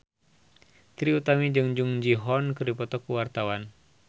Trie Utami jeung Jung Ji Hoon keur dipoto ku wartawan